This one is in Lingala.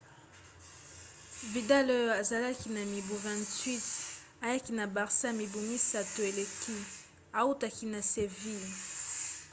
vidal oyo azalaki na mibu 28 ayaki na barça mibu misato eleki autaki na seville